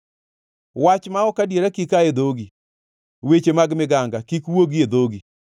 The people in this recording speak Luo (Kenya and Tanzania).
Wach ma ok adiera kik aa e dhogi; weche mag miganga kik wuogi e dhogi.